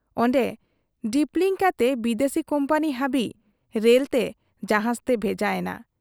ᱚᱱᱰᱮ ᱰᱤᱯᱞᱤᱝ ᱠᱟᱛᱮ ᱵᱤᱫᱟᱹᱥᱤ ᱠᱚᱢᱯᱟᱹᱱᱤ ᱦᱟᱹᱵᱤᱡ ᱨᱮᱞᱛᱮ , ᱡᱟᱦᱟᱡᱽᱛᱮ ᱵᱷᱮᱡᱟ ᱮᱱᱟ ᱾